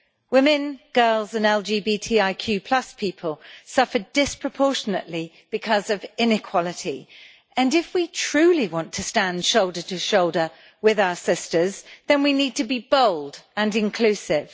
Women, girls and LGBTIQ people suffer disproportionately because of inequality and if we truly want to stand shoulder to shoulder with our sisters, then we need to be bold and inclusive.